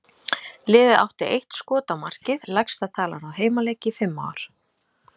Liðið átti eitt skot á markið, lægsta tala á heimaleik í fimm ár.